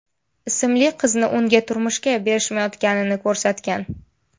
ismli qizni unga turmushga berishmayotganini ko‘rsatgan.